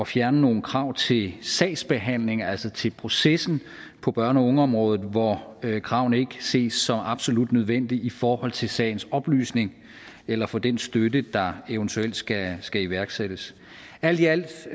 fjerne nogle krav til sagsbehandlingen altså til processen på børne og ungeområdet når kravene ikke ses som absolut nødvendige i forhold til sagens oplysning eller for den støtte der eventuelt skal skal iværksættes alt i alt